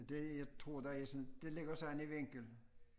Det jeg tror der er sådan det ligger sådan i vinkel